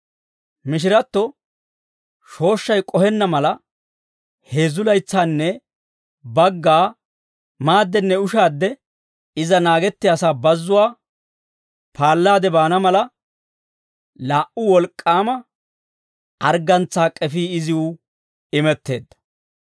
Mishiratto shooshshay k'ohenna mala, heezzu laytsaanne bagga maadenne ushaadde iza naagettiyasaa bazzuwaa paallaade baana mala, laa"u wolk'k'aama arggantsaa k'efii iziw imetteedda.